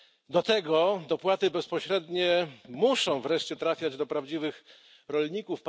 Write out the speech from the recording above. Do tego dopłaty bezpośrednie muszą wreszcie trafiać do prawdziwych rolników.